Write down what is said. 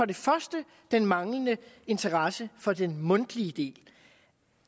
det første den manglende interesse for den mundtlige del